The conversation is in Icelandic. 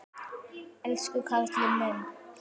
Elsku karlinn minn.